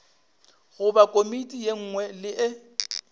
goba komiti ye nngwe le